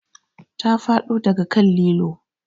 Ta faɗo daga kan lilo